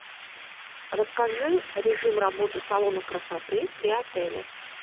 расскажи режим работы салона красоты при отеле